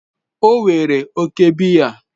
O were oke biya